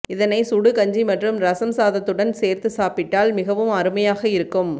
இதனை சுடு கஞ்சி மற்றும் ரசம் சாதத்துடன் சேர்த்து சாப்பிட்டால் மிகவும் அருமையாக இருக்கும்